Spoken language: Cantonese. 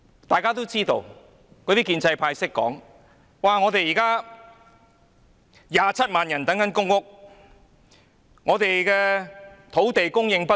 大家都知道，建制派議員也說，香港現時有27萬人輪候公屋，土地供應不足。